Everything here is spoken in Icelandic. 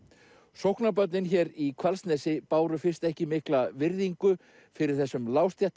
sóknarbörnin hér í Hvalsnesi báru fyrst ekki mikla virðingu fyrir þessum